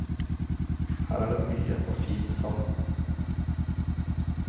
Her er det mye og fin sand.